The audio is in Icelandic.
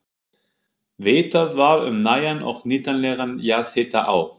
Vitað var um nægan og nýtanlegan jarðhita á